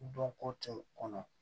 Dɔnko tɛ u kɔnɔ